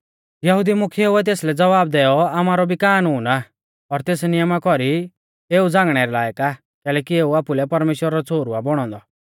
यहुदी मुख्येउऐ तेसलै ज़वाब दैऔ आमारौ भी कानून आ और तेस नियमा कौरी एऊ झ़ांगणै रै लायक आ कैलैकि एऊ आपुलै परमेश्‍वरा रौ छ़ोहरु आ बौणौ औन्दौ